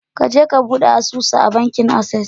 Kaje ka bude asusu a bankin Access.